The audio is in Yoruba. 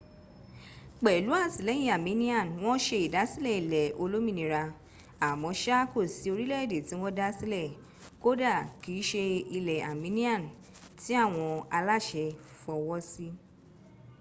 pẹlú àtìlẹyìn armenian, wọ́n se ìdásílẹ̀ ilẹ̀ olómìnira. àmọ́ṣá kò sí orílẹ̀èdè tí wọ́n dá sílẹ̀ - kódà kì í se ilẹ̀ armenian - tí àwọn aláṣẹ fọwọ́ sí